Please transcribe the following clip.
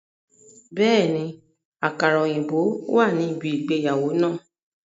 Bẹ́ẹ̀ni, àkàrà òyìnbó wà ní ibi ìgbéyàwó náà